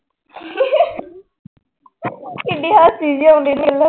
ਕਿੱਢੀ ਹੱਸੀ ਜਿਹੀ ਆਉਂਦੀ ਆ ਮੈਨੂੰ।